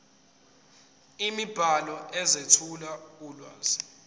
imibhalo ezethula ulwazi